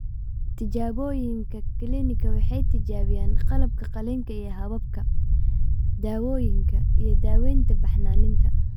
Tijaabooyinka kiliinikada waxay tijaabiyaan qalabka qalliinka iyo hababka, daawooyinka, iyo daaweynta baxnaaninta.